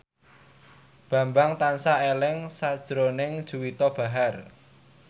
Bambang tansah eling sakjroning Juwita Bahar